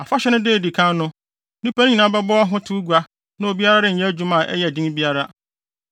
Afahyɛ no da a edi kan no, nnipa no nyinaa bɛbɔ ahotew gua na obiara renyɛ adwuma a ɛyɛ den biara.